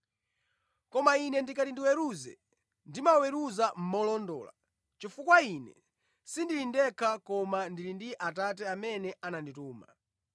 Koma Ine ndikati ndiweruze, ndimaweruza molondola, chifukwa Ine sindili ndekha koma ndili ndi Atate amene anandituma.